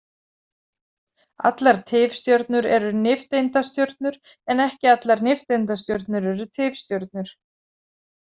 Allar tifstjörnur eru nifteindastjörnur en ekki allar nifteindastjörnur eru tifstjörnur.